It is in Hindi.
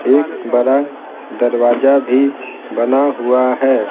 एक बड़ा दरवाजा भी बना हुआ है।